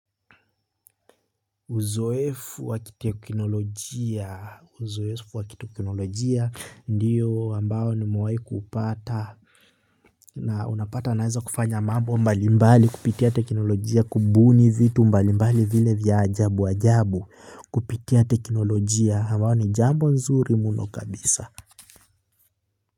Uzoefu wa kiteknolojia ndio ambao nimewahi kupata na unapata naweza kufanya mambo mbalimbali kupitia teknolojia kubuni vitu mbalimbali vile vya ajabu ajabu kupitia teknolojia ambayo ni jambo nzuri mno kabisa.